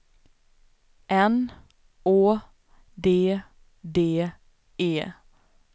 N Å D D E